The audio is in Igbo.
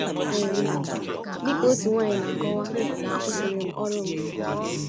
um Dị ka otu nwanyị na - akọwa akwụsịrị m ọrụ m....